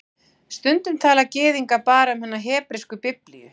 Stundum tala Gyðingar bara um hina hebresku Biblíu